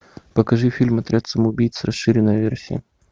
покажи фильм отряд самоубийц расширенная версия